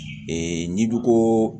n'i ko ko